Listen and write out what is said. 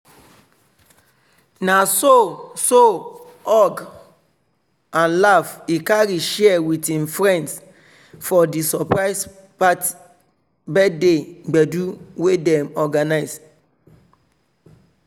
na so so hug and laff he carry share with him friends for di surprise birthday gbedu wey dem organize.